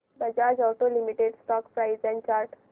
Bajaj auto limited stock price and chart